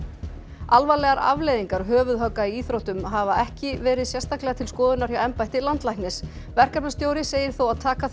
alvarlegar afleiðingar höfuðhögga í íþróttum hafa ekki verið sérstaklega til skoðunar hjá embætti landlæknis verkefnastjóri segir þó að taka þurfi